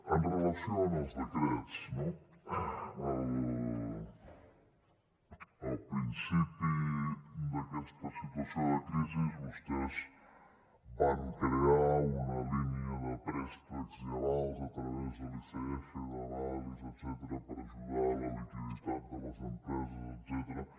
amb relació als decrets no al principi d’aquesta situació de crisi vostès van crear una línia de préstecs i avals a través de l’icf d’avalis etcètera per ajudar a la liquiditat de les empreses etcètera